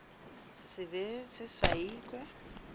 se be se sa ikwe